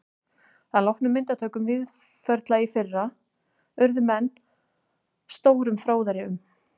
Að loknum myndatökum Víðförla í fyrra urðu menn stórum fróðari um